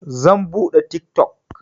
Zan buɗe tik tok.